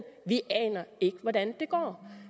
vi aner ikke hvordan det går